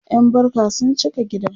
ƴan barka sun cika gida